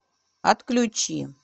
отключи